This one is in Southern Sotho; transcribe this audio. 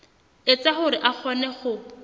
etsa hore a kgone ho